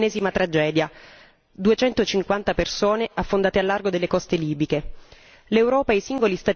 È notizia di ieri l'ennesima tragedia duecentocinquanta persone affondate al largo delle coste libiche.